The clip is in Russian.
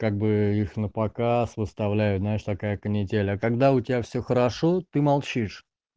как бы их напоказ выставляю знаешь такая канитель а когда у тебя все хорошо ты молчишь